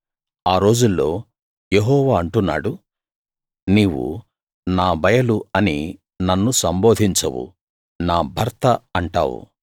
ఆ రోజుల్లో యెహోవా అంటున్నాడు నీవు నా బయలు అని నన్ను సంబోధించవు నా భర్త అంటావు